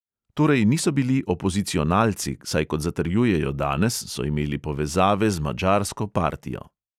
Torej niso bili opozicionalci, saj kot zatrjujejo danes, so imeli povezave z madžarsko partijo.